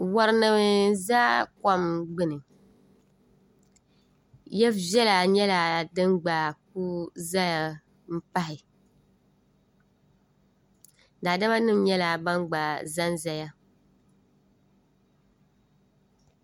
warinima n za kom gbini ya viɛl----a nyɛla din gba ku zaya m-pahi daadamanim----a nyɛla ban gba zan zaya